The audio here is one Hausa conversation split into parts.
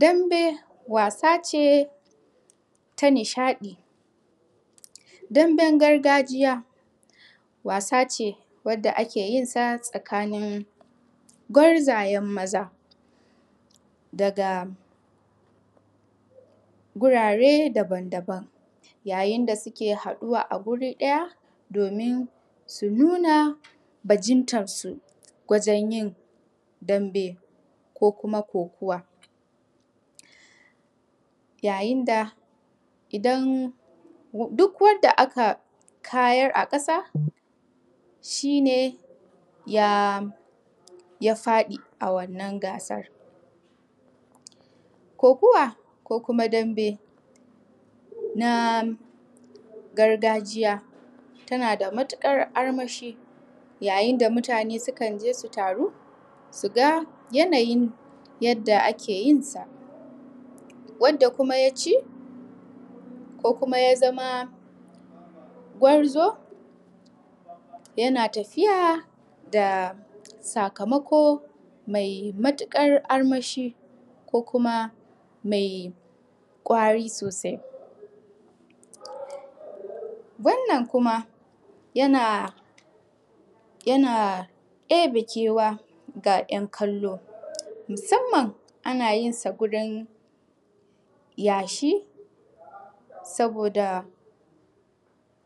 Dambe wasa ce ta nishadi. Dambe gargajiya wasa ce wadda ake yinsa tsakanin gwarzayen Maza daga gurare daban daban. Ya yinda suke haduwa a guri ɗaya domin su nuna bajintar su, wajen yin dambe ko kuma ko kuwa. Duk wanda aka kayar a kasa shine ya faɗi a wannan gasar. Ko kuwa ko kuma dambe na gargajiya ta nada matuƙar armashi ya yinda mutane sukanje su taru suga yanayin yadda ake yinsa, wadda kuma yace ya zama gwarzo yana tafiya da sakamakon mai matukar armashi ko kuma mai kwari sosai. Wannan kuma yana debe kewa ga yan kallo musamman ana yinsa gurin yashi saboda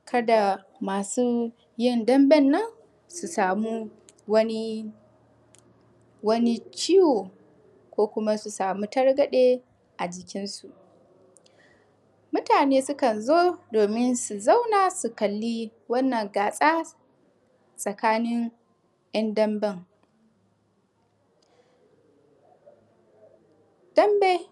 kasa masu yin dambe nan su samu Wani ciwuko Kuma su samu targade ajikin su. Mutane sukan zo domin su zauna su kalli wannan gasa tsakanin yan damben. Dambe.